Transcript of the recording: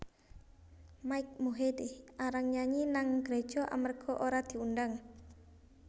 Mike Mohede arang nyanyi nang gereja amarga ora diundang